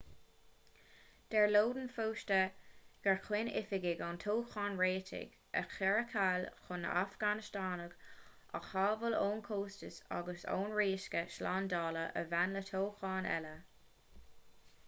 deir lodin fosta gur chinn oifigigh an toghcháin réitigh a chur ar ceall chun na hafganastánaigh a shábháil ón chostas agus ón riosca slándála a bhain le toghchán eile